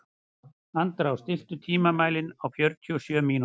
Andrá, stilltu tímamælinn á fjörutíu og sjö mínútur.